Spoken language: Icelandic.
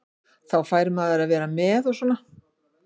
Þá fær maður að vera með og svona.